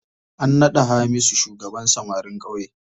An naɗa Hamisu shugaban samarin ƙauye.